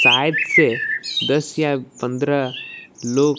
side से दस या पंद्रह लोग--